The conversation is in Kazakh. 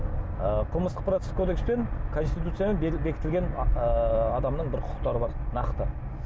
ы қылмыстық процесс кодекспен конситуциямен бекітілген ыыы адамның бір құқықтары бар нақты